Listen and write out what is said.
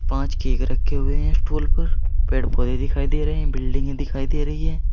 पांच केक रखे हुए हैं स्टूल पर पेड़ पौधे दिखाई दे रहे हैं बिल्डिंगे दिखाई दे रही है।